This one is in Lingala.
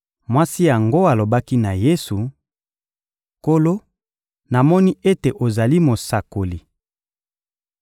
Mwasi yango alobaki na Yesu: — Nkolo, namoni ete ozali mosakoli.